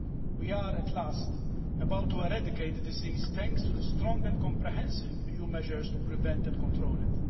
We are at last about to eradicate the disease thanks to the strong and comprehensive EU measures to prevent and control it.